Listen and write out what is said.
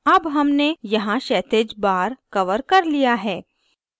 अब हमने यहाँ क्षैतिज bar कवर कर लिया है